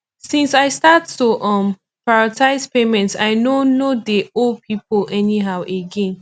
since i start to um prioritize payments i no no dey owe pipo anyhow again